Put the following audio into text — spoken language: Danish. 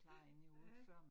Ja ja